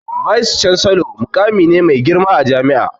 "Vice chancellor'' muƙami ne mai girma a jami'a